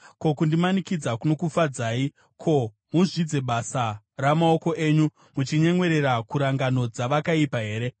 Ko, kundimanikidza kunokufadzai, kuti muzvidze basa ramaoko enyu, muchinyemwerera kurangano dzavakaipa here?